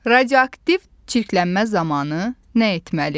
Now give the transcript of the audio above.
Radioaktiv çirklənmə zamanı nə etməli?